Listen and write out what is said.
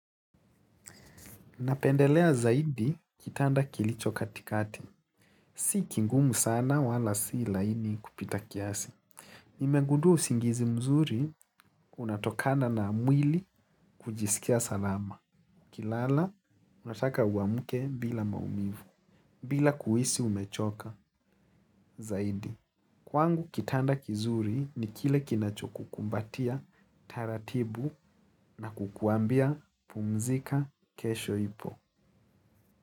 Napendelea zaidi kitanda kilicho katikati. Si kingumu sana wala si ilaini kupita kiasi. Nimegudua usingizi mzuri, unatokana na mwili kujisikia salama. Kilala, unataka uamuke bila maumivu, bila kuisi umechoka zaidi. Kwangu kitanda kizuri ni kile kinacho kukumbatia, taratibu na kukuambia pumzika kesho ipo.